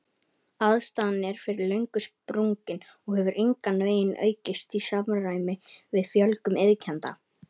Aðstaðan er fyrir löngu sprungin og hefur engan veginn aukist í samræmi við fjölgun iðkenda.